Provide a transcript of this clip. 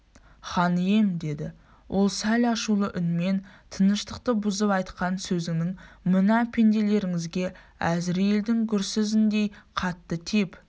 хан ием деді ол сәл ашулы үнмен тыныштықты бұзып айтқан сөзіңіз мына пенделеріңізге әзірейілдің гүрзісіндей қатты тиіп